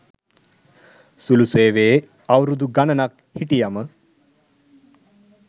සුළු සේවයේ අවුරුදු ගනනක් හිටියම.